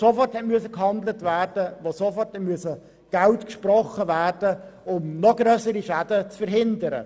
Dort musste sofort gehandelt und sofort Geld gesprochen werden, um noch grössere Schäden zu verhindern.